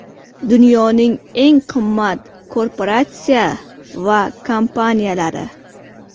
Dunyoning eng qimmat korporatsiya va kompaniyalari.